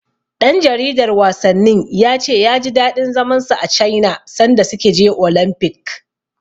Ɗan jaridar wasannin ya ce ya ji daɗin zaman sa a Caina sanda suka je Olamfik.